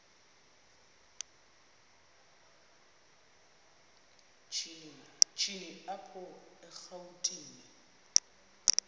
shini apho erawutini